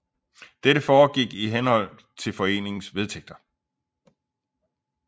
Dette foregik i henhold til foreningens vedtægter